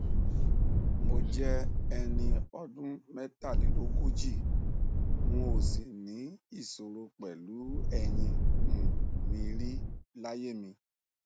mo jẹ ẹni ọdún mẹtàlélógójì n ò sìvní ìṣòro pẹlú ẹyìn um mi rí láyé mi